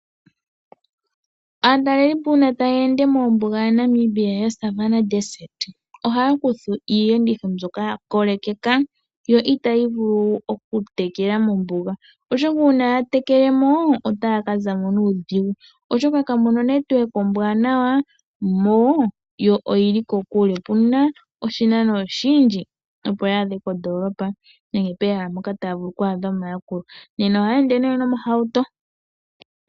Aatalelipo uuna taya ende mombuga ya Namibia ya Savannah desert ohaya kutha iiyenditho mbyoka ya kolekeka yo itayi vulu okutekela mombuga, oshoka uuna ya tekelemo otaya ka zamo nuudhigu oshoka kamuna onetwork ombwaanawa yo oyili kokule. Opuna oshinano oshindji opo ya adhe ko ndoolopa nenge pehala mpoka taya vulu okumona omayakulo nena ohaya ende nee nomahauto.